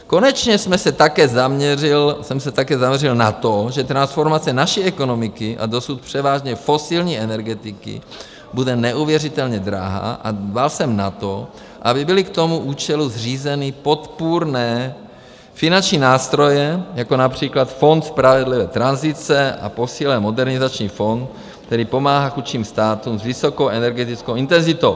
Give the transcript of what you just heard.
Konečně jsem se také zaměřil na to, že transformace naší ekonomiky a dosud převážně fosilní energetiky bude neuvěřitelně drahá, a dbal jsem na to, aby byly k tomu účelu zřízeny podpůrné finanční nástroje, jako například Fond spravedlivé tranzice, a posílen Modernizační fond, který pomáhá chudším státům s vysokou energetickou intenzitou.